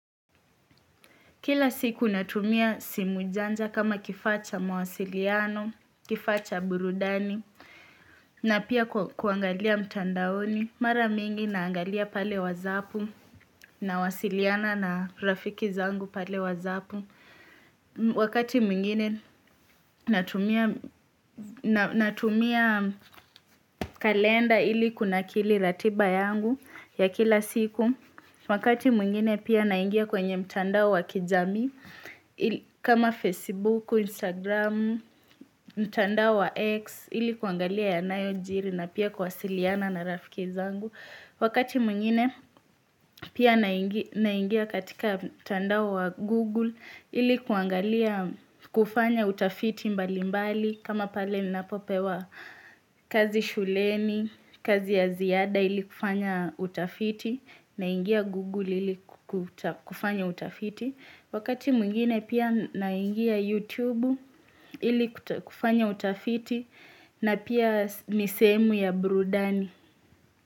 Kila siku natumia simu janja kama kifaa cha mawasiliano, kifaa cha burudani, na pia kuangalia mtandaoni. Mara mingi naangalia pale wazapu nawasiliana na rafiki zangu pale wazapu. Wakati mwingine natumia kalenda ili kunakili ratiba yangu ya kila siku. Wakati mwingine pia naingia kwenye mtandao wa kijamii. Kama Facebook, Instagram, mtandao wa X ili kuangalia yanayojiri na pia kuwasiliana na rafiki zangu Wakati mwingine pia naingia katika mtandao wa Google ili kuangalia kufanya utafiti mbalimbali kama pale ninapopewa kazi shuleni, kazi ya ziada ili kufanya utafiti naingia Google ili kufanya utafiti Wakati mwingine pia naingia YouTube ili kufanya utafiti na pia ni sehemu ya burudani.